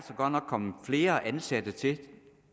kommet flere ansatte til